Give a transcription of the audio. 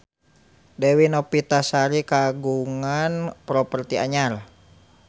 Dewi Novitasari kagungan properti anyar